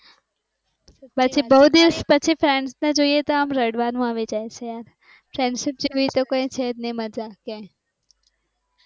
પછી બહું દિવસ પછી friends થઇ જાયએ તો પછી રડવાનું આવી જાય છે friends સિવાય તો કઈ છે જ નહિ મજા ક્યાંય